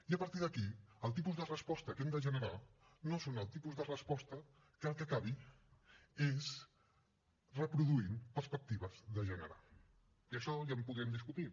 i a partir d’aquí el tipus de resposta que hem de generar no és el tipus de resposta que el que acabi és reproduint perspectives de gènere que d’això ja en podrem discutir